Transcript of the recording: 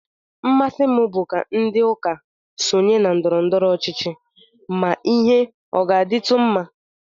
Mmasị m bụ ka ndị isi ụka sonye na ndọrọndọrọ ọchịchị ma ihe ọ ga-adịtụ mma